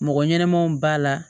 Mɔgɔ ɲɛnɛmanw b'a la